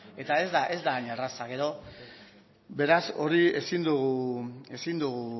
eta ez da ain erraza beraz ezin dugu